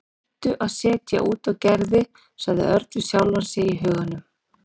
Hættu að setja út á Gerði sagði Örn við sjálfan sig í huganum.